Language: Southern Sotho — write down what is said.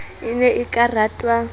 e ne e ka ratwa